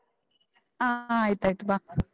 ಹ ಆಯ್ತಾಯ್ತು ಬಾ.